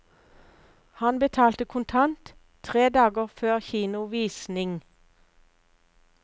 Han betalte kontant tre dager før kinovisning.